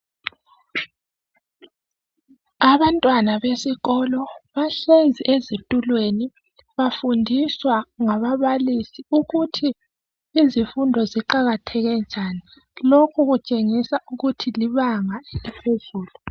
Abantwana besikolo bahlezi ezitulweni bafundiswa ngababalisi ukuthi izifundo ziqakatheke njani. Lokhu kutshengisa ukuthi libanga eliphezulu.